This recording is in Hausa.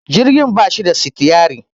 jirgi ba shi da sitiyari